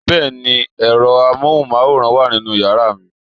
Bẹ́ẹ̀ni, ẹ̀rọ amóhùnmáwòrán wà nínú yàrá mi